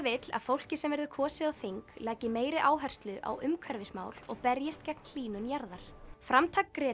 vill að fólkið sem verður kosið á þing leggi meiri áherslu á umhverfismál og berjist gegn hlýnun jarðar framtak